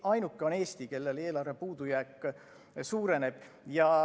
Ainuke on Eesti, kellel eelarve puudujääk suureneb.